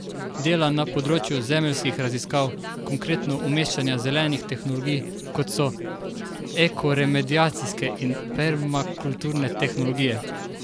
Dela na področju zemeljskih raziskav, konkretno umeščanja zelenih tehnologij, kot so ekoremediacijske in permakulturne tehnologije.